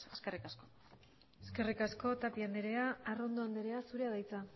eskerrik asko eskerrik asko tapia andrea arrondo andrea zurea da hitza